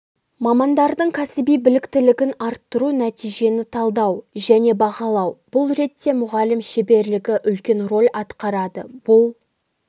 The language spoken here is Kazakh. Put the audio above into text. мамандардың кәсіби біліктілігін арттыру нәтижені талдау және бағалау бұл ретте мұғалім шеберлігі үлкен рөл атқарады бұл